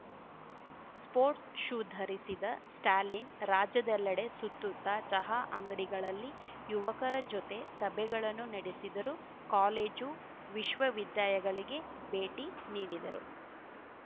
sports shoe ಧರಿಸಿದ ಸ್ಟಾಲಿನ್‌ ರಾಜ್ಯದೆಲ್ಲೆಡೆ ಸುತ್ತುತ್ತ ಚಹಾ ಅಂಗಡಿಗಳಲ್ಲಿ ಯುವಕರ ಜೊತೆ ಸಭೆಗಳನ್ನು ನಡೆಸಿದರು ಕಾಲೇಜು ವಿಶ್ವ ವಿದ್ಧಯಗಳಿಗೆ ಭೇಟಿ ನೀಡಿದರು